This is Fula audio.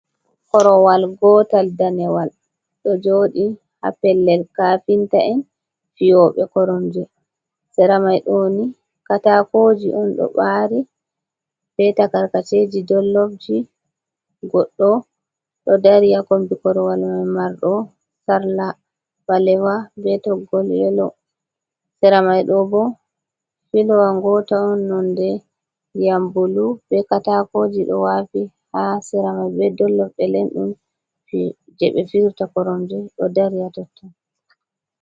Korowal gootal danewal, ɗo jooɗi ha pellel kaafinta en fiyooɓe koromje. Sera mai ɗo ni, kataakooji on ɗo ɓaari, be takarkaceji dollobji, goɗɗo ɗo dari ha kombi korowal mai, marɗo sarla ɓalewa be toggol yelo, sera mai ɗo bo fiilowa ngota on nonde ndiyam bulu, be kataakooji ɗo waafi ha sera mai, be dollob, be lendum je ɓe fiyirta koromje ɗo dari ha totton.